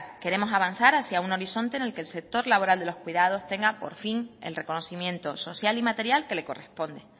queremos avanzar hacia un horizonte en el que el sector laboral de los cuidados tenga por fin el reconocimiento social y material que le corresponde